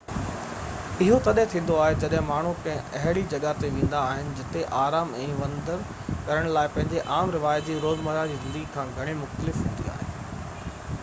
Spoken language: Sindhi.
اهو تڏهن ٿيندو آهي جڏهن ماڻهو ڪنهن اهڙي جڳهہ تي ويندا آهن جتي آرام ۽ وندر ڪرڻ لاءِ پنهنجي عام رواجي روزمره جي زندگي کان گهڻي مختلف هوندي آهي